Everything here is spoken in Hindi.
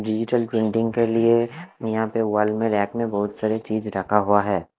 डिजिटल प्रिंटिंग के लिए यहाँ पे वॉल में रैक में बहुत सारी चीज रखा हुआ है।